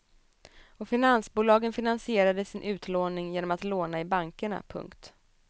Och finansbolagen finansierade sin utlåning genom att låna i bankerna. punkt